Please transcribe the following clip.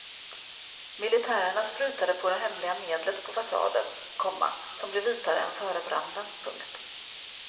Militärerna sprutade på det hemliga medlet på fasaden, komma som blev vitare än före branden. punkt